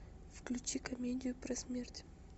включи комедию про смерть